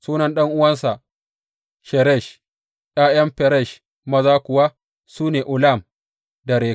Sunan ɗan’uwansa Sheresh, ’ya’yan Feresh maza kuwa su ne Ulam da Rakem.